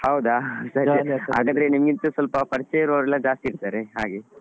ಹೌದಾ ಹಾ ಸರಿ ಸರಿ . ಹಾಗಾದ್ರೆ ನಿಮಗೆ ಸ್ವಲ್ಪ ಪರಿಚಯ ಇರುವವರೆಲ್ಲಾ ಜಾಸ್ತಿ ಇರ್ತರೆ ಹಾಗೆ.